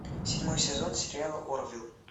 седьмой сезон сериала орвилл